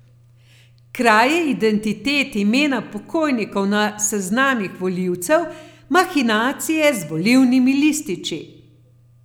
Kraje identitet, imena pokojnikov na seznamih volivcev, mahinacije z volilnimi lističi.